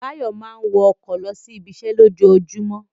Báyọ̀ máa ń wọ ọkọ̀ lọ sí ibiṣẹ́ lójoojúmọ́